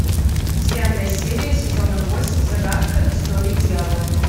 девятая серия сезона восемь загадка истории дьявола